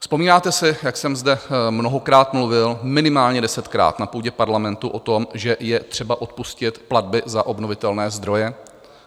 Vzpomínáte si, jak jsem zde mnohokrát mluvil, minimálně desetkrát, na půdě parlamentu o tom, že je třeba odpustit platby za obnovitelné zdroje?